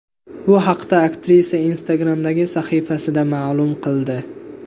Bu haqda aktrisa Instagram’dagi sahifasida ma’lum qildi.